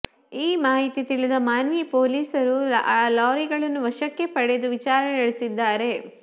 ಈ ಮಾಹಿತಿ ತಿಳಿದ ಮಾನ್ವಿ ಪೊಲೀಸರು ಲಾರಿಗಳನ್ನು ವಶಕ್ಕೆ ಪಡೆದು ವಿಚಾರಣೆ ನಡೆಸಿದ್ದಾರೆ